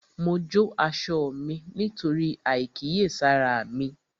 Mo jó aṣọ mí nítorí àìkíyèsára mi